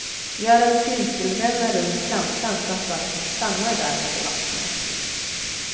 Gör en cirkelränna runt plantan så att vattnet stannar där när du vattnar.